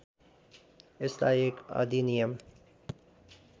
यसलाई एक अधिनियम